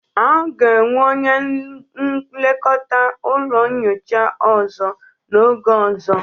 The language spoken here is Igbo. A ga-enwe onye nlekọta ụlọ nyocha ọzọ n'oge ọzọ